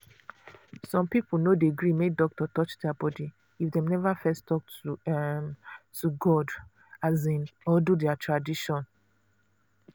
some people no dey gree make doctor touch their body if dem never first talk um to god um or do their tradition.